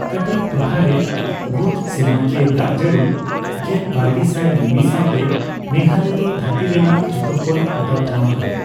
ᱠᱟᱴᱤᱪ ᱴᱚᱴᱷᱟ ᱨᱮ ᱜᱷᱩᱸᱴ ᱥᱮᱨᱢᱟᱠᱤᱭᱟᱹ ᱫᱟᱜᱼᱡᱟᱹᱲᱤ ᱜᱮᱞᱵᱟᱨᱜᱮᱥᱟᱭ ᱢᱤᱢᱤ ᱥᱟᱣᱛᱮ, ᱢᱮᱜᱷᱟᱞᱚᱭ ᱫᱚ ᱫᱷᱟᱹᱨᱛᱤ ᱨᱮᱱᱟᱜ ᱡᱚᱛᱚᱠᱷᱚᱱ ᱚᱫᱟ ᱴᱷᱟᱣ ᱠᱟᱱᱟ ᱾